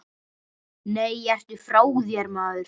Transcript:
Nei, ertu frá þér, maður.